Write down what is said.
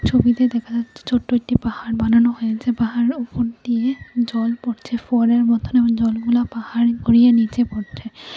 ছবিতে দেখা যাচ্ছে ছোট্ট একটি পাহাড় বানানো হয়েছে পাহাড়ের ওপর দিয়ে জল পড়ছে ফোয়ারের মতন এবং জলগুলা পাহাড় গড়িয়ে নীচে পড়ছে।